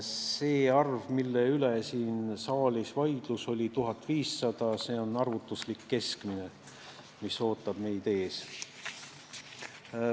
See arv, mille üle siin saalis vaidlus oli, 1500 eurot, on arvutuslik keskmine, mis meid ees ootab.